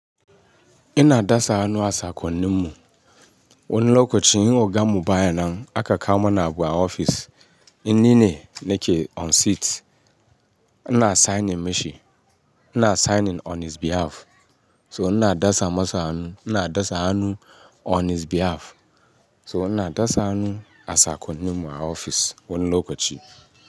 Ina dasa hannu a sakonnin mu. Wani lokaci in oga mu bayan nan aka kama na bu a ofis, ni ne nake on seat. Ina signing mashi, ina signing on his behalf. So ina dasa masa hannu, ina dasa hannu on his behalf. So ina dasa hannu a sakonnin mu a ofis wani lokaci.